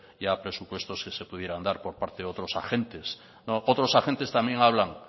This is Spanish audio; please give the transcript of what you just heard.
ya presupuestos que se pudieran dar por parte de otros agentes no otros agentes también hablan